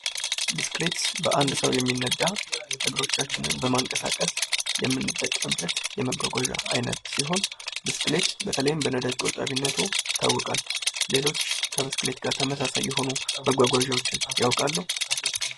ብስክሌት በአንድ ሰው የሚነዳ እግሮቻችንን በማንቀሳቀስ የምንጠቀምበት የመጓጓዣ አይነት ሲሆን ብስክሌት በተለይም በነዳጅ ቆጣቢነቱ ይታወቃል ። ሌሎች ከብስክሌት ጋር ተመሳሳይ የሆኑ መጓጓዣዎችን ያውቃሉ ?